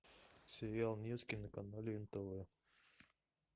сериал невский на канале нтв